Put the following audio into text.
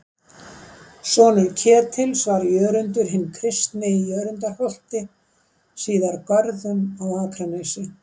Sonur Ketils var Jörundur hinn kristni í Jörundarholti, síðar Görðum, á Akranesi.